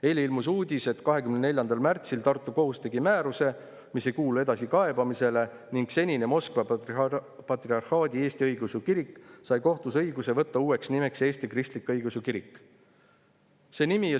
Eile ilmus uudis, et 24. märtsil andis Tartu kohus määruse, mis ei kuulu edasikaebamisele, ning senine Moskva Patriarhaadi Eesti Õigeusu Kirik sai kohtus õiguse võtta uueks nimeks Eesti Kristlik Õigeusu Kirik.